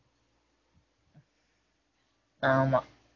ஆமா